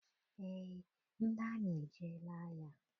Eé, ndị amị ejeela agha.